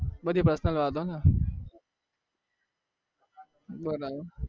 બધી personal વાતો બરાબર